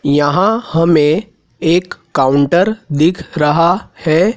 यहां हमें एक काउंटर दिख रहा है।